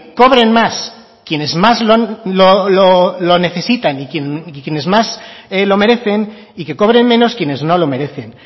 cobren más quienes más lo necesitan y quienes más lo merecen y que cobren menos quienes no lo merecen